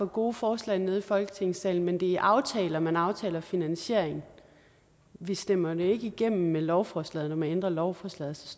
for gode forslag nede i folketingssalen men det er i aftaler man aftaler finansieringen vi stemmer den ikke igennem med lovforslaget med lovforslaget